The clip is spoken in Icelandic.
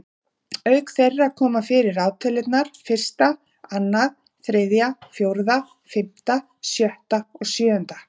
Auk þeirra koma fyrir raðtölurnar fyrsta, annað, þriðja, fjórða, fimmta, sjötta og sjöunda.